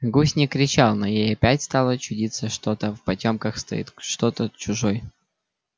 гусь не кричал но ей опять стало чудиться что-то в потёмках стоит что-то чужой